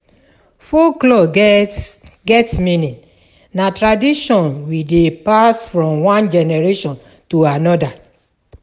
Folklore get get meaning, na tradition we dey pass from one generation to another.